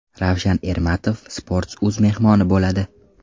Ravshan Ermatov Sports.uz mehmoni bo‘ladi.